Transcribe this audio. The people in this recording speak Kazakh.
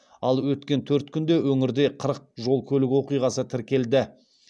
ал өткен төрт күнде өңірде қырық жол көлік оқиғасы тіркелді